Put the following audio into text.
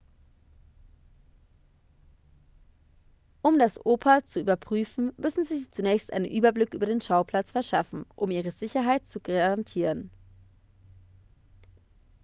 um das oper zu überprüfen müssen sie sich zunächst einen überblick über den schauplatz verschaffen um ihre sicherheit zu garantieren